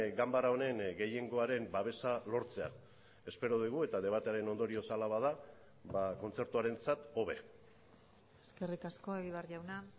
ganbara honen gehiengoaren babesa lortzea espero dugu eta debatearen ondorioz hala bada kontzertuarentzat hobe eskerrik asko egibar jauna